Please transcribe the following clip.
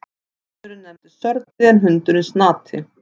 Hesturinn nefnist Sörli en hundurinn Snati.